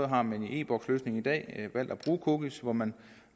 har man i e boks løsningen i dag valgt at bruge cookies hvor man